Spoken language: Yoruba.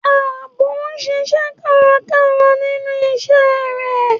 Ààbò ń ṣiṣẹ́ kárakára nínú iṣẹ́ rẹ̀.